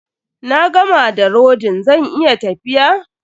Na gama da rodin, zan iya tafiya?